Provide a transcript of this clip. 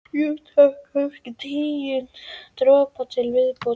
Jú, takk, kannski tíu dropa til viðbótar.